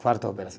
Quarta operação.